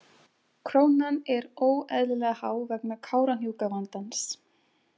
Krónan er óeðlilega há vegna Kárahnjúkavandans.